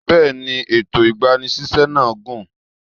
Bẹ́ẹ̀ni, ètò ìgbani síṣẹ́ náà gùn.